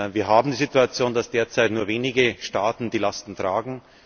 Wir haben die Situation, dass derzeit nur wenige Staaten die Lasten tragen.